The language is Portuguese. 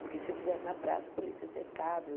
Porque se fizesse na praça, a polícia cercava.